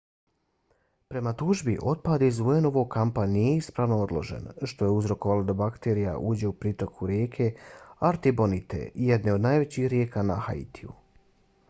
prema tužbi otpad iz un-ovog kampa nije ispravno odložen što je uzrokovalo da bakterija uđe u pritoku rijeke artibonite jedne od najvećih rijeka na haitiju